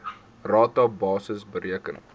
rata basis bereken